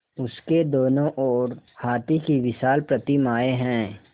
उसके दोनों ओर हाथी की विशाल प्रतिमाएँ हैं